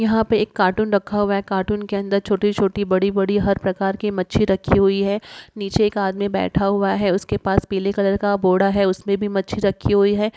यहाँ पे एक कार्टून रखा हुआ है कार्टून के अंदर छोटे-छोटे बड़ी-बड़ी हर प्रकार की मच्छी रखी हुई है| नीचे एक आदमी बैठा हुआ है उसके पास पीले कलर का बोड़ा है उसने भी मच्छी रखी हुई है ।